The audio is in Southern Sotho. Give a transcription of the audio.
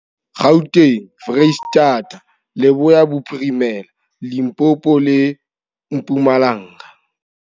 Gauteng, Freistata, Leboya Bophirimela, Limpopo le Mpumalanga.